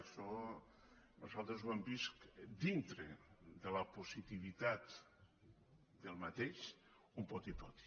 això nosaltres ho hem vist dintre de la positivitat d’aquest un poti poti